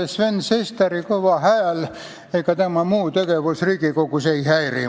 Mind Sven Sesteri kõva hääl ega tema muu tegevus Riigikogus ei häiri.